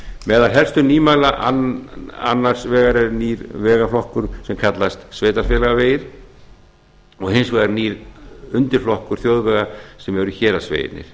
meðal helstu nýmæla annars vegar er nýr vegflokkur sem kallast sveitarfélagavegir og hins vegar nýr undirflokkur þjóðvega sem eru héraðsvegirnir